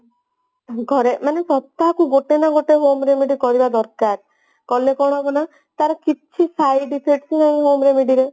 ମୁଁ ଘରେ ମାନେ ସପ୍ତାହକୁ ଗୋଟେ ନା ଗୋଟେ ପନ୍ଦର minute କରିବା ଦରକାର କଲେ କଣ ହବ ନା ତାର କିଛି side effect ନାହିଁ home remedy ରେ